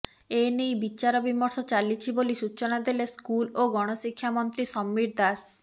ଏନେଇ ବିଚାର ବିମର୍ଶ ଚାଲିଛି ବୋଲି ସୂଚନା ଦେଲେ ସ୍କୁଲ୍ ଓ ଗଣଶିକ୍ଷା ମନ୍ତ୍ରୀ ସମୀର ଦାଶ